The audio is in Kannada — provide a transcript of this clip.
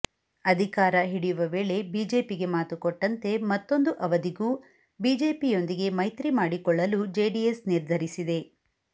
ಅಧಿಕಾರ ಹಿಡಿಯುವ ವೇಳೆ ಬಿಜೆಪಿಗೆ ಮಾತು ಕೊಟ್ಟಂತೆ ಮತ್ತೊಂದು ಅವಧಿಗೂ ಬಿಜೆಪಿಯೊಂದಿಗೆ ಮೈತ್ರಿ ಮಾಡಿಕೊಳ್ಳಲು ಜೆಡಿಎಸ್ ನಿರ್ಧರಿಸಿದೆ